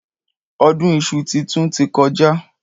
Ọdún iṣu titun ti kọjá.